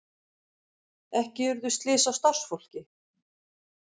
Ekki urðu slys á starfsfólki